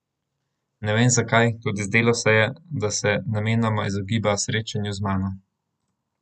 Ne vem zakaj, toda zdelo se je, da se namenoma izogiba srečanju z mano.